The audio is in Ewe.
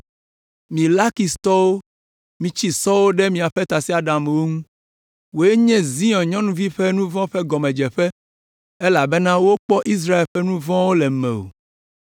Mi Lakistɔwo mitsi sɔwo ɖe miaƒe tasiaɖamwo ŋu. Wòe nye Zion nyɔnuvi ƒe nu vɔ̃ ƒe gɔmedzeƒe elabena wokpɔ Israel ƒe nu vɔ̃wo le mewò.